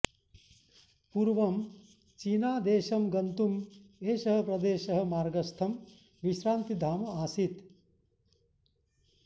पूर्वं चीनादेशं गन्तुम् एषः प्रदेशः मार्गस्थं विश्रान्तिधाम आसीत्